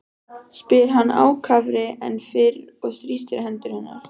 spyr hann ákafari en fyrr og þrýstir hendur hennar.